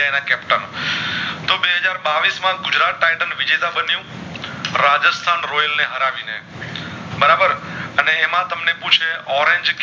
બે હજાર બાવીશ માં ગુજરાત Titans વિજેતા બનીયુ રાજેસ્થાન royal ને હરાવી ને બરાબર અને એમાં તમને પૂછે Orange